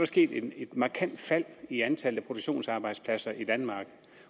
sket et markant fald i antallet af produktionsarbejdspladser i danmark